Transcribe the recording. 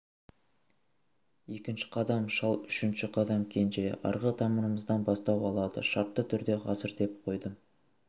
екінші қадам шал үшінші қадам кенже арғы тамырымыздан бастау алады шартты түрде ғасыр деп қойдым